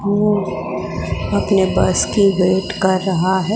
वो अपने बस की वेट कर रहा है।